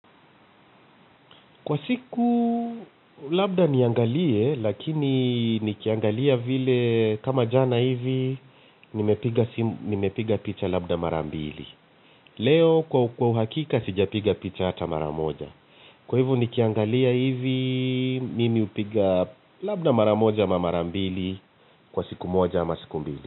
Kwa siku labda niangalie lakini nikiangalia vile kama jana hivi nimepiga picha labda mara mbili. Leo kwa uhakika sijapiga picha hata mara moja. Kwa hivo nikiangalia hivi mimi hupiga labda mara moja ama mara mbili kwa siku moja ama siku mbili.